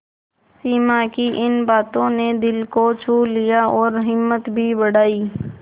सिमा की इन बातों ने दिल को छू लिया और हिम्मत भी बढ़ाई